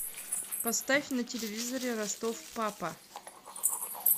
поставь на телевизоре ростов папа